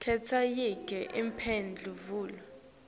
khetsa yinye imphendvulo